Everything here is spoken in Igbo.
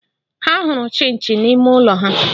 Ha hụrụ Chinchi na ime ụlọ ha